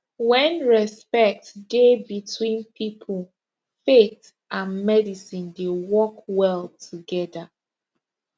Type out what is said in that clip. when respect dey between people faith and medicine dey work well together